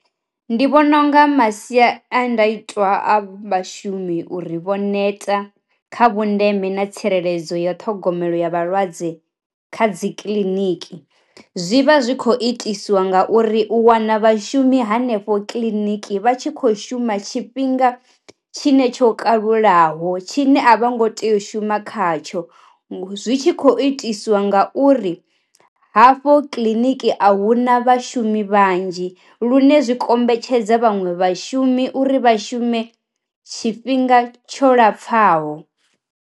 Ndi vhona unga masiandaitwa a vhashumi uri vho neta kha vhu ndeme na tsireledzo ya ṱhogomelo ya vhalwadze kha dzi kiḽiniki, zwi vha zwi kho i tiswa nga uri u wana vhashumi hanefho kiḽiniki vha tshi kho shuma tshifhinga tshine tsho kalulaho tshine a vho ngo tea u shuma kha tsho zwi tshi kho itiswa nga uri hafho kiḽiniki a huna vha shumi vhanzhi lune zwi kombetshedza vhaṅwe vha shumi uri vha shume tshifhinga tsho lapfha ho.